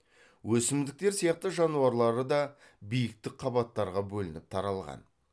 өсімдіктер сияқты жануарлары да биіктік қабаттарға бөлініп таралған